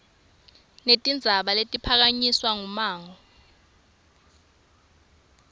netindzaba letiphakanyiswe ngummango